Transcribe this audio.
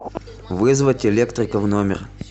вызвать электрика в номер